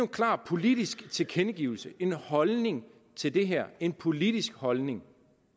klar politisk tilkendegivelse en holdning til det her en politisk holdning